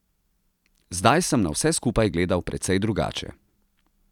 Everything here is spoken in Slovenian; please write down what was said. Zdaj sem na vse skupaj gledal precej drugače.